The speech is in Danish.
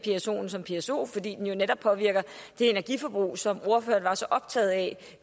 psoen som pso fordi den jo netop påvirker det energiforbrug som ordføreren var så optaget af